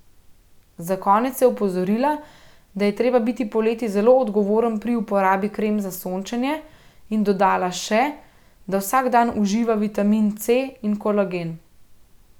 Za konec je opozorila, da je treba biti poleti zelo odgovoren pri uporabi krem za sončenje, in dodala še, da vsak dan uživa vitamin C in kolagen.